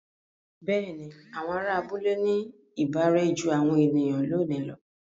Bẹ́ẹ̀ni, àwọn ará abúlé ní ìbárẹ́ jú àwọn ènìyàn lónìí lọ.